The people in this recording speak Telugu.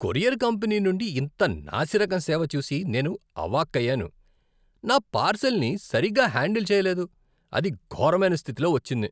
కొరియర్ కంపెనీ నుండి ఇంత నాసిరకం సేవ చూసి నేను ఆవాక్కయ్యాను. నా పార్సల్ని సరిగ్గా హ్యాండల్ చెయ్యలేదు, అది ఘోరమైన స్థితిలో వచ్చింది.